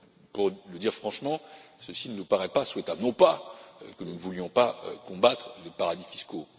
Pour le dire franchement, cela ne nous paraît pas souhaitable, non pas que nous ne voulions pas combattre les paradis fiscaux